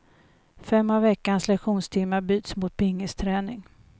Fem av veckans lektionstimmar byts mot pingisträning.